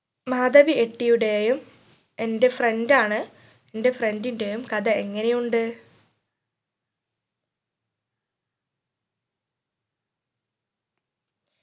മാധവി എട്ടിയുടെയും എന്റെ friend ആണ് എന്റെ friend ന്റെയും കഥ എങ്ങനെ ഉണ്ട്